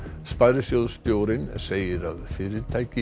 sparisjóðsstjórinn segir að fyrirtæki